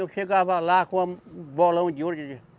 Eu chegava lá com uma, um bolão de ouro.